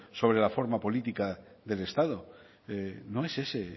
sobre la forma política del estado no es ese el